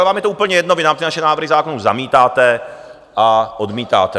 A vám je to úplně jedno, vy nám ty naše návrhy zákonů zamítáte a odmítáte.